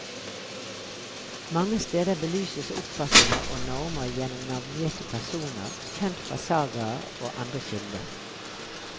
Mange steder belyses oppfatninger og normer gjennom navngitte personer kjent fra sagaer og andre kilder.